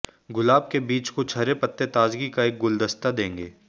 गुलाब के बीच कुछ हरे पत्ते ताजगी का एक गुलदस्ता देंगे